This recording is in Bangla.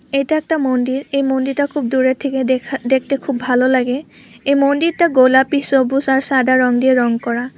এটা একটা মন্দির এ মন্দিরটা খুব দূরে থেকে দেখা দেখতে খুব ভালো লাগে এই মন্দিরটা গোলাপি সবুজ আর সাদা রং দিয়ে রং করা।